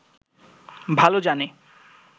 ভালো জানে